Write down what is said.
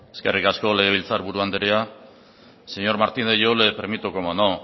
eskerrik asko legebiltzarburu andrea señor martínez yo le permito cómo no